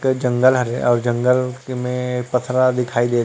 एक जंगल हरे अउ ए जंगल में पथरा दिखाई देत--